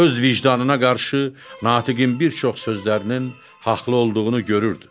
Öz vicdanına qarşı natiqin bir çox sözlərinin haqlı olduğunu görürdü.